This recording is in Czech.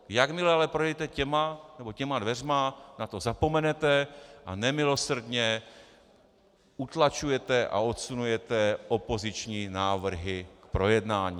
Jakmile ale projdete těmito dveřmi, na to zapomenete a nemilosrdně utlačujete a odsunujete opoziční návrhy k projednání.